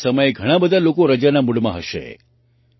આ સમયે ઘણા બધા લોકો રજાના મૂડમાં પણ છે